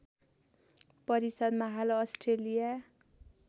परिषद्‍मा हाल अस्ट्रेलिया